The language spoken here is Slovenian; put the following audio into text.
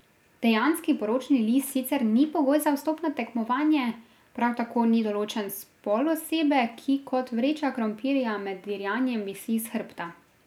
Dejanski poročni list sicer ni pogoj za vstop na tekmovanje, prav tako ni določen spol osebe, ki kot vreča krompirja med dirjanjem visi s hrbta.